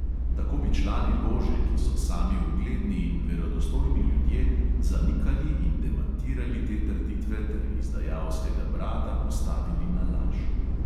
Tako bi člani lože, ki so sami ugledni in verodostojni ljudje, zanikali in demantirali te trditve ter izdajalskega brata postavili na laž.